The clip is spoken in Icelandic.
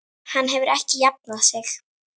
Hann hefur ekki jafnað sig.